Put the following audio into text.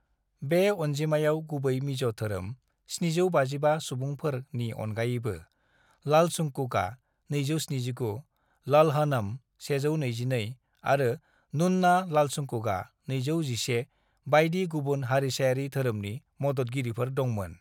"बे अनजिमायाव गुबै मिज' धोरोम (755 सुबुंफोर)नि अनगायैबो , लालचुंगकुआ (279), लल्हनम (122), आरो नुन्ना लालचुंगकुआ (211) बायदि गुबुन हारिसायारि धोरोमनि मददगिरिफोर दंमोन।"